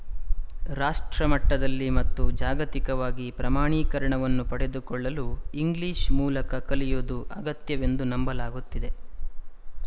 ರಾಷ್ಟ್ರಮಟ್ಟದಲ್ಲಿ ಮತ್ತು ಜಾಗತಿಕವಾಗಿ ಪ್ರಮಾಣೀಕರಣವನ್ನು ಪಡೆದುಕೊಳ್ಳಲು ಇಂಗ್ಲಿಶ ಮೂಲಕ ಕಲಿಯುವುದು ಅಗತ್ಯವೆಂದು ನಂಬಲಾಗುತ್ತಿದೆ